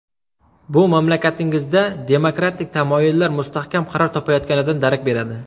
Bu mamlakatingizda demokratik tamoyillar mustahkam qaror topayotganidan darak beradi.